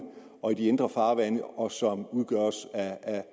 og de indre farvande og som udgøres af